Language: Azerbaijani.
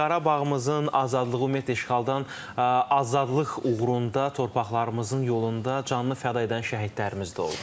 Qarabağımızın azadlığı, ümumiyyətlə işğaldan azadlıq uğrunda torpaqlarımızın yolunda canını fəda edən şəhidlərimiz də oldu.